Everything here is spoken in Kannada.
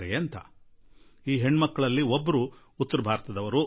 ಈ ಪುತ್ರಿಯರ ಪೈಕಿ ಒಬ್ಬಾಕೆ ಉತ್ತರ ಭಾರತದವರು